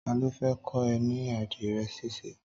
Tàló fè kọ ẹ̀ ni ádirẹ̀ ṣisé?